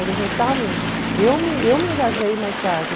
Eles não estavam... Eu me eu me engajei mais tarde.